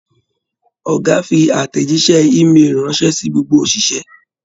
Ọgá fí àtẹjísẹ́ e-mail ranṣẹ sí gbogbo oṣiṣẹ.